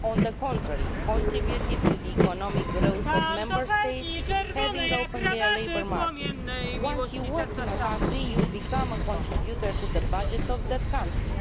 On the contrary, it contributed to the economic growth of Member States that opened their labour markets. Once you work in a country you become a contributor to the budget of that country.